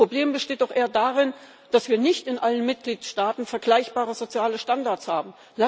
Das Problem besteht doch eher darin, dass wir nicht in allen Mitgliedstaaten vergleichbare soziale Standards haben.